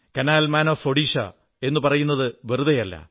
കാനൽ man of the Odisha എന്നു പറയുന്നതു വെറുതയല്ല